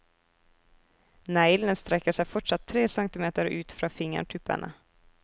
Neglene strekker seg fortsatt tre centimeter ut fra fingertuppene.